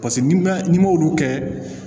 Paseke n'i ma n'i m'olu kɛ